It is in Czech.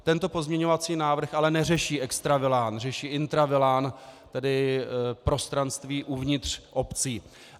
Tento pozměňovací návrh ale neřeší extravilán, řeší intravilán, tedy prostranství uvnitř obcí.